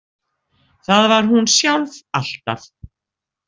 Það var hún sjálf alltaf.